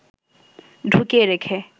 ঢুকিয়ে রেখে